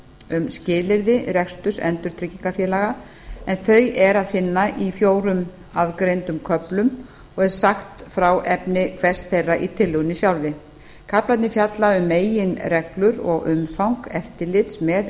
um skilyrði reksturs endurtryggingafélaga en þau er að finna í fjórum aðgreindum köflum og er sagt frá efni hvers þeirra í tillögunni sjálfri kaflarnir fjalla um meginreglur og umfang eftirlits með